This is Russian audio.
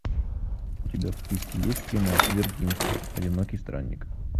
у тебя в списке есть кино вертинский одинокий странник